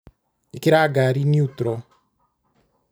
Ĩkĩra ngari niutro.